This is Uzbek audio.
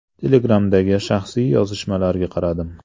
Telegram’dagi shaxsiy yozishmalarga qaradim.